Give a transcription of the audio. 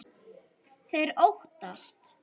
Þeir óttast.